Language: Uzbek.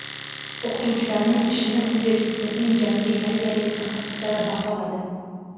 O‘qituvchilarning ishini universitetning janubiy koreyalik mutaxassislari baholadi.